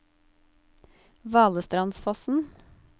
Valestrandsfossen